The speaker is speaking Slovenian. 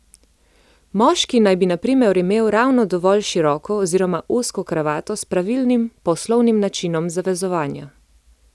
Moški naj bi na primer imel ravno dovolj široko oziroma ozko kravato s pravilnim, poslovnim načinom zavezovanja.